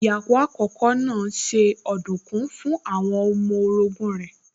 Ìyàwó àkókò náà se ọ̀dùnkún fún àwọn ọmọ orogún rẹ̀